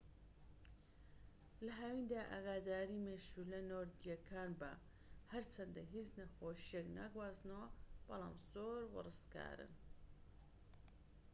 لە هاویندا ئاگاداری مێشولە نۆردیەکان بە هەرچەندە هیچ نەخۆشییەک ناگوازنەوە بەڵام زۆر وەڕسکارن